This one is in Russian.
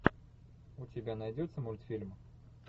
у тебя найдется мультфильм